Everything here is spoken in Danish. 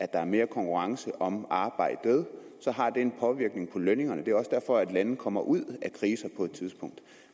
der er mere konkurrence om arbejdet har det en påvirkning på lønningerne det er også derfor at lande kommer ud af kriser på et tidspunkt